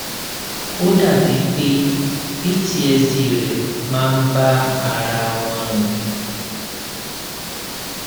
ó dàbí pé ptsd rẹ máa ń bá ara wọn rìn